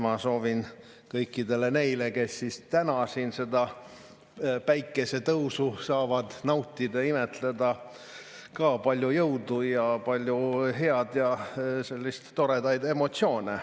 " Ma soovin kõikidele neile, kes täna siin seda päikesetõusu saavad nautida ja imetleda, palju jõudu ja palju head ning toredaid emotsioone.